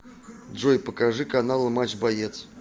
джой покажи каналы матч боец